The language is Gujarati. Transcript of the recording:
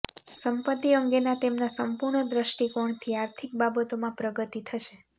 સંપત્તિ અંગેના તેમના સંપૂર્ણ દૃષ્ટિકોણથી આર્થિક બાબતોમાં પ્રગતિ થશે